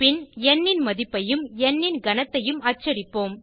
பின் ந் ன் மதிப்பையும் ந் ன் கனத்தையும் அச்சடிப்போம்